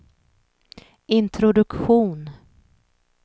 introduktion